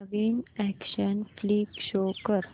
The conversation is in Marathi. नवीन अॅक्शन फ्लिक शो कर